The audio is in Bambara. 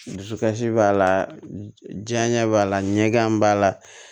Dusukasi b'a la janɲɛ b'a la ɲɛ gan b'a la